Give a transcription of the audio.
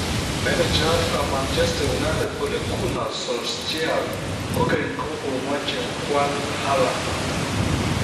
Menejayatab Manchester United Ole Gunnar Solskjaer kogeny komoche kwal Haaland.